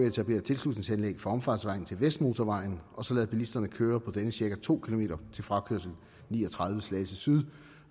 etablere et tilslutningsanlæg for omfartsvejen til vestmotorvejen og så lade bilisterne køre på denne i cirka to km til frakørsel ni og tredive slagelse syd